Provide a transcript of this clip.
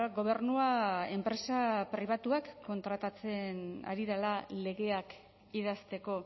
gobernua enpresa pribatuak kontratatzen ari dela legeak idazteko